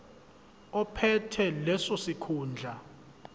ophethe leso sikhundla